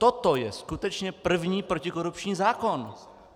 Toto je skutečně první protikorupční zákon.